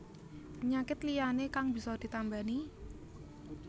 Penyakit liyané kang bisa ditambani